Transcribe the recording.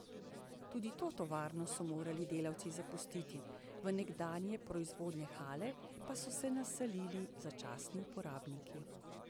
Tudi to tovarno so morali delavci zapustiti, v nekdanje proizvodne hale pa so se naselili začasni uporabniki.